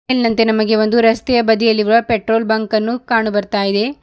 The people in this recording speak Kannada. ಮೇಲಿನಂತೆ ನಮಗೆ ಒಂದು ರಸ್ತೆಯ ಬದಿಯಲ್ಲಿವ ಪೆಟ್ರೋಲ್ ಬಂಕ್ ಅನ್ನು ಕಾಣು ಬರ್ತಾ ಇದೆ.